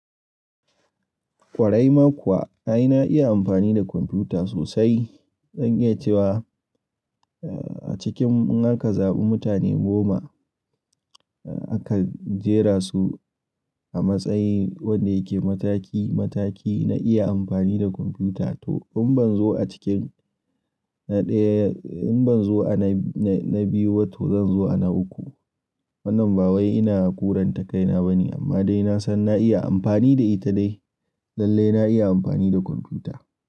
Ƙwarai ma kuwa ai na iya amfani da kwamfuta sosai. Zan iya cewa, eh, a cikin in aka zaɓi mutane goma, eh, aka jera su a matsayin wanda yake mataki mataki na iya amfani da kwamfuta to in ban zo a cikin na ɗaya, in ban zo a na biyu ba to zan zo a na uku. Wannan ba wai ina kuranta kaina bane amma dai na san na iya amfani da ita dai lallai na iya amfani da kwamfuta.